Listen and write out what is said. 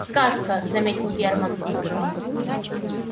сказка заметил германн